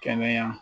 Kɛnɛya